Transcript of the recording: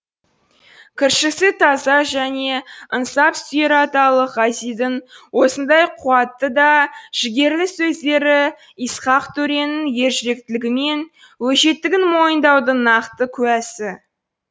кіршіксіз таза және ынсап сүйер аталық ғазидің осындай қуатты да жігерлі сөздері исхақ төренің ержүректілігі мен өжеттігін мойындаудың нақты куәсі